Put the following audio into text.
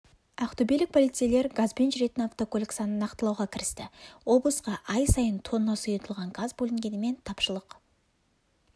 ақтөбелік полицейлер газбен жүретін автокөлік санын нақтылауға кірісті облысқа ай сайын тонна сұйылтылған газ бөлінгенімен тапшылық